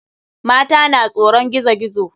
Mata na tsoron gizo gizo.